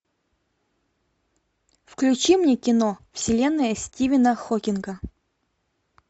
включи мне кино вселенная стивена хокинга